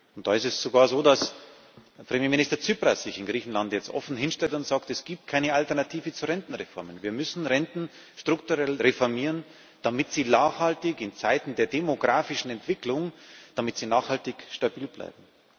Und da ist es sogar so, dass Premierminister Tsipras sich in Griechenland jetzt offen hinstellt und sagt Es gibt keine Alternative zu Rentenreformen, wir müssen Renten strukturell reformieren, damit sie in Zeiten der demografischen Entwicklung nachhaltig stabil bleiben.